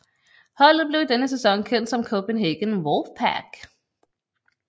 Holdet blev i denne sæson kendt som Copenhagen Wolfpack